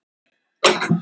Laugabakka